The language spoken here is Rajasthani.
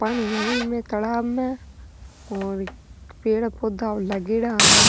पानी है एम्मे तालाब में पेड़ पौधा लागेडा --